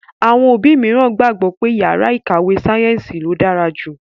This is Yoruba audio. Àwọn òbí mìíràn gbàgbọ́ pé yàrá ìkàwé sáyẹ́ǹsì ló dára jù.